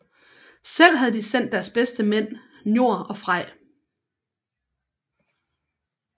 Selv havde de sendt deres bedste mænd Njord og Frej